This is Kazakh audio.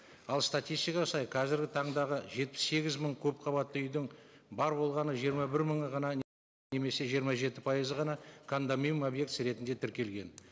ал статистикаға сай қазіргі таңдағы жетпіс сегіз мың көпқабатты үйдің бар болғаны жирыма бір мыңы ғана немесе жиырма жеті пайызы ғана кондоминиум объектісі ретінде тіркелген